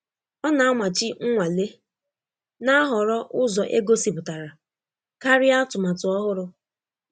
Ọ na-amachi nnwale, na-ahọrọ ụzọ egosipụtara karịa atụmatụ ọhụrụ.